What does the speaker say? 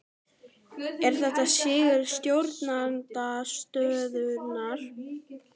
Er þetta sigur stjórnarandstöðunnar?